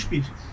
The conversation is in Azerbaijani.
61.